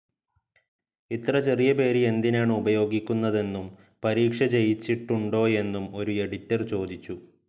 ഇത്ര ചെറിയ പേര് എന്തിനാണ് ഉപയോഗിക്കുന്നതെന്നും, പരീക്ഷ ജയിച്ചിട്ടുണ്ടോയെന്നും ഒരു എഡിറ്റർ ചോദിച്ചു.